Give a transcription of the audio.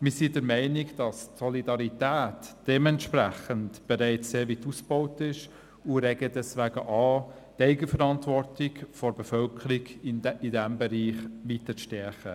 Wir sind der Meinung, dass die Solidarität dementsprechend sehr weit ausgebaut ist, und regen deshalb an, die Eigenverantwortung der Bevölkerung in diesem Bereich weiter zu stärken.